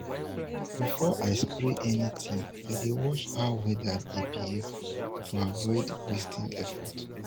before i spray anything i dey watch how weather dey behave to avoid wasting effort.